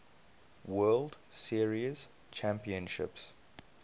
world series championships